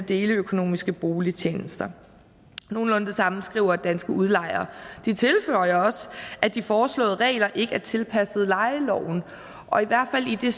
deleøkonomiske boligtjenester nogenlunde det samme skriver danske udlejere og de tilføjer også at de foreslåede regler ikke er tilpasset lejeloven og i hvert fald i det